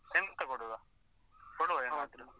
ಎಂತ ಕೊಡುವ? ಕೊಡುವ ಏನ್ .